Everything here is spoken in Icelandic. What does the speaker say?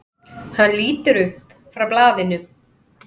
Hann lítur upp frá blaðinu.